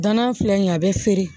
Danan filɛ nin ye a be feere